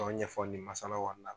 K'o ɲɛfɔ nin masala kɔnɔna na